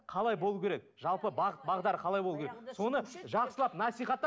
қалай болуы керек жалпы бағыт бағдар қалай болуы керек соны жақсылап насихаттап